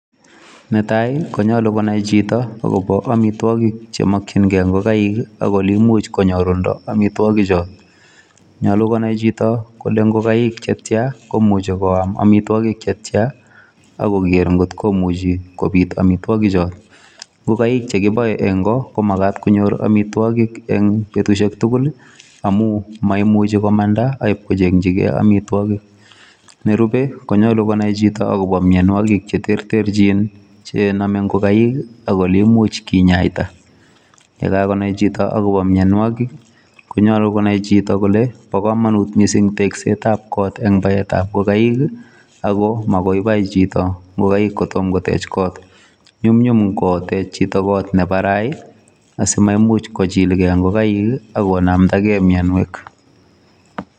Netai konyolu konai chito agobo amitwogik che mokinge ingokaik, ak ole imuch konyorunda amitwogichoto. Nyolu konai chito kole ngokaik che tya komuche koam amitwogik che tyan ak koger ngotkomuchi kobit amitwogichoto. Ngokaik che kiboe engo komagat konyor amitwogik en betusiek tugul amun moimuchi komanda ibkochengi ge amitwogik. Nerupe koyoche konai chito agobo amitwogik che terterchin chenome ingokaik ak ole imuch kinyaita. Ye kagonai chito agobo mianwogik konyolu konai chito kole bo komonut mising teksetab got en baetab ngokaik ago magoi bai chito ngokaik kotom kotech kot. Nyumnyumkotech chito koot ne barai asimaimuch kochilge ngokaik ak konamdage mianwek.